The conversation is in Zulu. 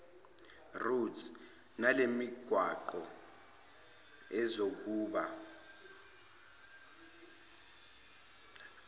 roads nalemigwaqo izokuba